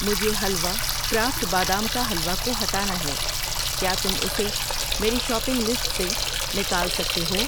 مجھے حلوہ کرافٹ بادام کا حلوہ کو ہٹانا ہے، کیا تم اسے میری شاپنگ لسٹ سے نکال سکتے ہو؟